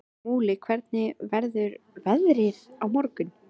Múli, hvernig verður veðrið á morgun?